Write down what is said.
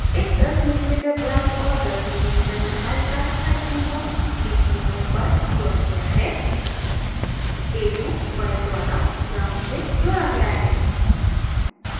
एक 10mm व्यास और 10mm लम्बाई का स्थायी चुम्बक dc motor पर जोड़ा गया है